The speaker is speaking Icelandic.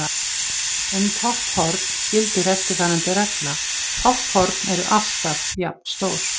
Um topphorn gildir eftirfarandi regla: Topphorn eru alltaf jafnstór.